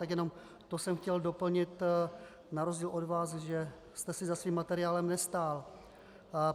Takže jenom to jsem chtěl doplnit na rozdíl od vás, že jste si za tím materiálem nestál.